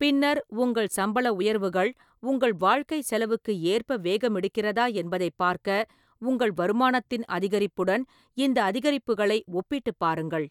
பின்னர், உங்கள் சம்பள உயர்வுகள் உங்கள் வாழ்க்கைச் செலவுக்கு ஏற்ப வேகமெடுக்கிறதா என்பதைப் பார்க்க உங்கள் வருமானத்தின் அதிகரிப்புடன் இந்த அதிகரிப்புகளை ஒப்பிட்டுப் பாருங்கள்.